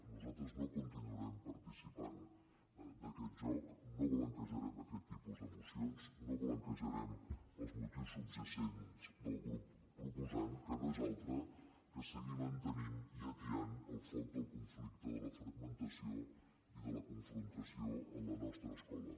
nosaltres no continuarem participant d’aquest joc no blanquejarem aquest tipus de mocions no blanquejarem els motius subjacents del grup proposant que no és altre que seguir mantenint i atiant el foc del conflicte de la fragmentació i de la confrontació en la nostra escola